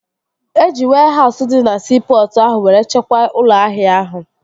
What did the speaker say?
Eji wehause dị na siipọtụ ahụ were chekwaa ụlọ ahịa ahụ